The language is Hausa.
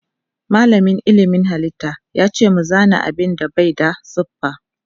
Malamin ilmin halitta yace mu zana abinda Bai da siffa.